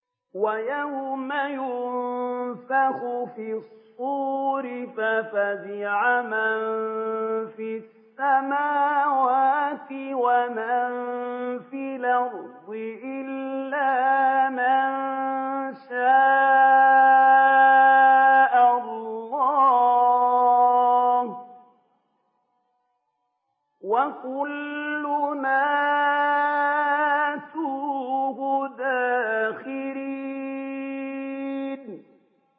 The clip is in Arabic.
وَيَوْمَ يُنفَخُ فِي الصُّورِ فَفَزِعَ مَن فِي السَّمَاوَاتِ وَمَن فِي الْأَرْضِ إِلَّا مَن شَاءَ اللَّهُ ۚ وَكُلٌّ أَتَوْهُ دَاخِرِينَ